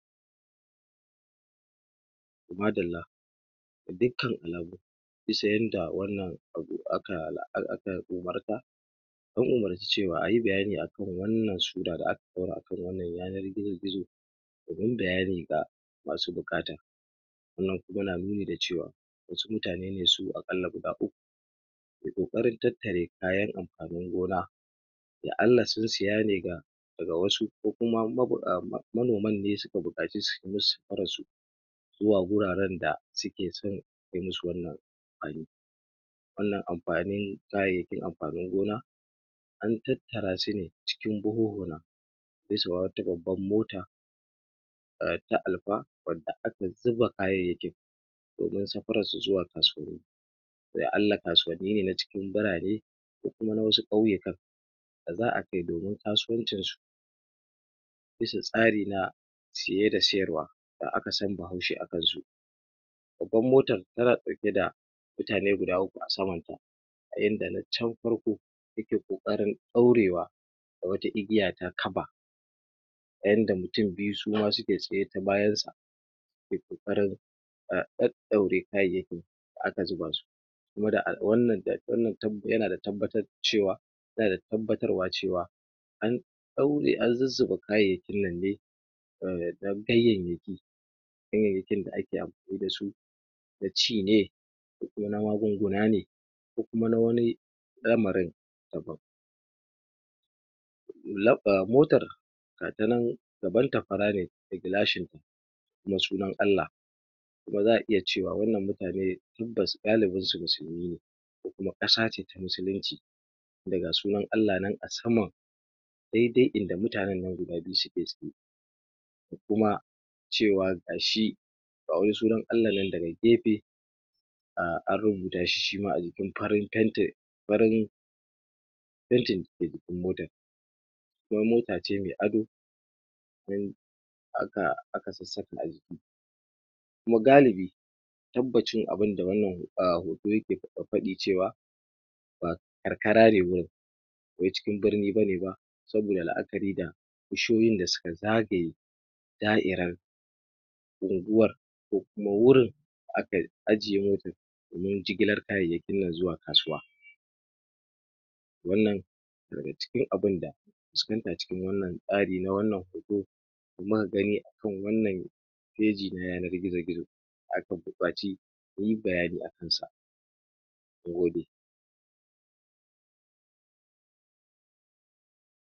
ma dalla ga dukkan alamu bisa yanda wannan abu aka umarta an umarci cewa ayi bayani akan wannan sura da aka ɗaura akan yanar gizo gizo domin bayani ga masu buƙata wannan kuma na nuni da cewa wasu mutane ne su aƙalla guda uku dake ƙoƙarin tattare kayan amfanin gona ya alla sun siya ne ga daga wasu ko kuma um manoman ne suka nemi suyi musu safarar su zuwa gurare da suke cin irin su wannan amfaniwannan amfanin kayayyakin amfanin gona an tattara sune cikin buhuhuna bisa wa wata babbar mota ta Alfa wadda aka zuba kayayyakin domin safarar su zuwa kasuwanni ya alla kasuwanni ne na cikin birane ko kuma na wasu ƙauyikan da za'a kai domin kasuwan cin su bisa tsari na siye da siyar wa da aka san bahaushe akan su babban motar tana ɗauke da mutane guda uku a saman ta a yanda tacan farko take ƙoƙarin ɗaurewa da wata igiya ta kaba ta yanda mutum biyu suma suke tsaye ta bayan sa suke ƙoƙarin ɗaɗaure kayayyakin da aka zuba su um wannan yana tabbatar da cewa yana da tabbatar wa cewa an ɗaure an zuzzuba kayayyakin nan dai ganyayyaki ganyayyakin da ake amfani dasu na ci ne ko kuma na magunguna ne ko kuma na wani lamarin daban. motar gata nan gabanta fara ne da gilashin na sunan Allah kuma za'a iya cewa wannan mutane tabbas galibinsu musulmine ko kuma ƙasa ce ta musulunci tinda ga sunan Allah nan a saman daidai inda mutanen nan guda biyu suke zaune da kuma cewa gashi ga wani sunan Allan nan daga gefe um an rubuta shi shima a jikin farin faitin farin faitin dake jikin motar kuma mota ce me ado domin aka sassaka aciki kuma galibi tabbacin abinda wannan hoto yake faɗi cewa ba karka ra ne gurin ba wai cikin birni bane ba saboda la'akari da bishiyoyin da suka zagaye da'iran unguwar ko kuma wurin da aka ajiye motar domin jigilar kayayyakin nan zuwa kasuwa wannan daga cikin abun da fuskanta cikin wannan tsari na wannan hoto da muka gani akan wannan feji na yanar gizo gizo da aka buƙaci muyi bayani akan sa na gode